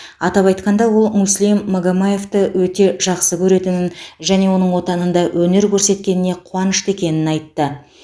атап айтқанда ол муслим магомаевты өте жақсы көретінін және оның отанында өнер көрсеткеніне қуанышты екенін айтты